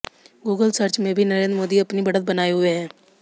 Google search में भी नरेंद्र मोदी अपनी बढ़त बनाए हुए हैं